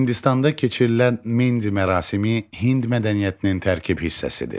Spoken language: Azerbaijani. Hindistanda keçirilən mendi mərasimi Hind mədəniyyətinin tərkib hissəsidir.